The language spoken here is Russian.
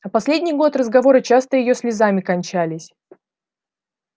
а последний год разговоры часто её слезами кончались